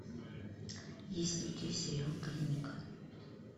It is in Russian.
есть ли у тебя сериал клиника